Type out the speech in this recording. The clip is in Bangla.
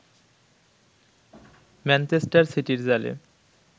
ম্যানচেস্টার সিটির জালে